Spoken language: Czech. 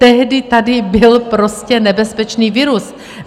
Tehdy tady byl prostě nebezpečný virus.